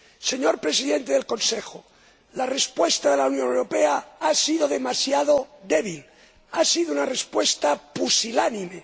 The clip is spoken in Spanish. Señor Presidente del Consejo, la respuesta de la Unión Europea ha sido demasiado débil, ha sido una respuesta pusilánime.